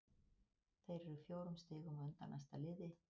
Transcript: Þeir eru fjórum stigum á undan næsta liði.